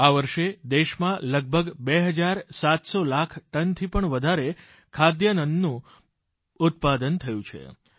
આ વર્ષે દેશમાં લગભગ બે હજાર સાતસો લાખ ટનથી પણ વધારે ખાદ્યાન્નનું ઉત્પાદન થયું છે